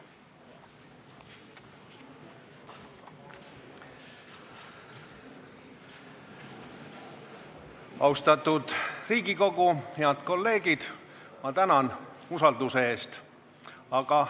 Austatud Riigikogu, head kolleegid, ma tänan usalduse eest!